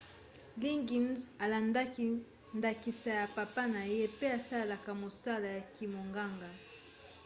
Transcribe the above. liggins alandaki ndakisa ya papa na ye pe asalaka mosala ya kimonganga